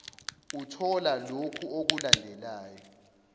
uthola lokhu okulandelayo